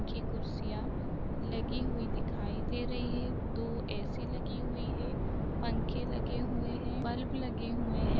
की कुर्सियां लगी हुई दिखाई दे रही हैं। दो ऐ.सी. लगी हुई है पंखे लगे हुएं हैं बल्ब लगे हुएं हैं।